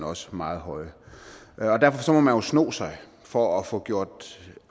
også meget høje derfor må man jo sno sig for at få gjort